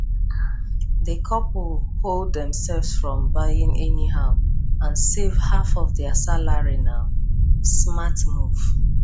the couple hold themselves from buying anyhow and save half of their salaryna smart move